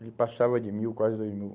Ele passava de mil, quase dois mil.